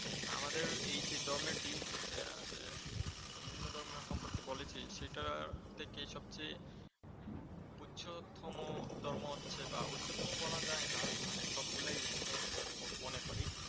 আমাদের এই যে ধর্মটি আহ বিভিন্ন ধর্ম সম্পর্কে বলেছি সেটা থেকে সবচেয়ে উচ্চতম ধর্ম হচ্ছে বা উচ্চতম বলা যায় না সবগুলাই উচ্চ আমি মনে করি।